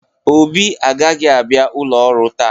Obi agaghị abịa ụlọ ọrụ taa.